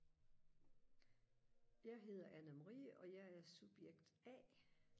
jeg hedder Anna Marie og jeg er subjekt a